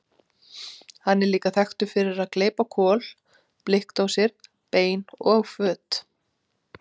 Hann er líka þekktur fyrir að gleypa kol, blikkdósir, bein og föt.